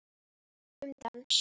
Um dans